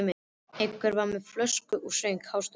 Einn var með flösku og söng hástöfum.